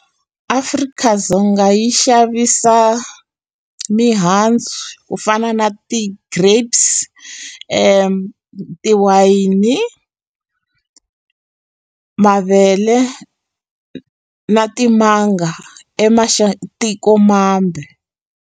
Afrika-Dzonga yi xavisa mihandzu ku fana na ti-grapes, tiwayini, mavele na timanga .